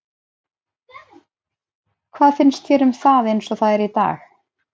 Hvað finnst þér um það eins og það er í dag?